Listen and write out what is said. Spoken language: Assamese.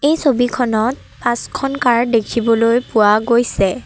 এই ছবিখনত পাঁচখন কাৰ দেখিবলৈ পোৱা গৈছে।